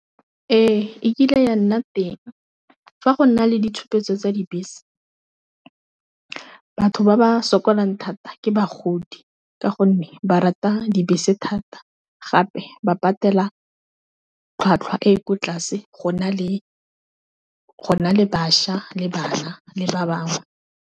Ee, e kile ya nna teng fa go na le ditshupetso tsa dibese batho ba ba sokolang thata ke bagodi, ka gonne ba thata dibese thata, gape ba patela tlhwatlhwa e ko tlase go na le bašwa le bana le ba bangwe.